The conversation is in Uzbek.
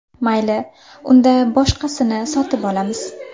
Mayli, unda boshqasini sotib olamiz.